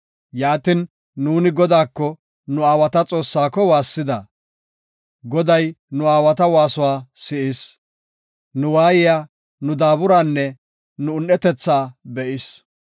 Yaatin, nuuni Godaako, nu aawata Xoossaako waassida. Goday nu waasuwa si7is; nu waayiya, nu daaburanne nu un7etetha be7is.